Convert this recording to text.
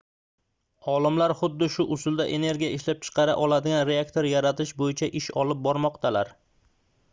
olimlar xuddi shu usulda energiya ishlab chiqara oladigan reaktor yaratish boʻyicha ish olib bormoqdalar